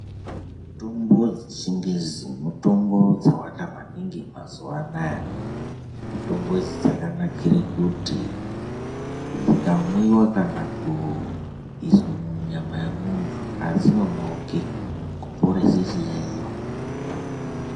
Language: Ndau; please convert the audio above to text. Mutombo dzechingezi mutombo dzawanda maningi mazuwaanaya mutombo idzi dzakanakire kuti dzikamwiwa kana kuiswe munyama yemuntu adzinonoki kuporese chiyayiyo.